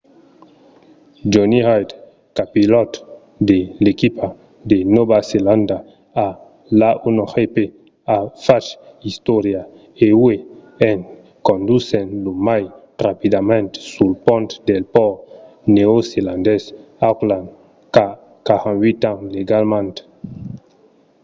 jonny reid copilòt de l'equipa de nòva zelanda a l'a1gp a fach istòria uèi en condusent lo mai rapidament sul pont del pòrt neozelandés d'auckland qu'a 48 ans legalament